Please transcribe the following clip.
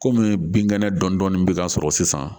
Kɔmi bin kɛnɛ dɔnni bɛ ka sɔrɔ sisan